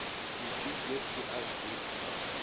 включи девки аш ди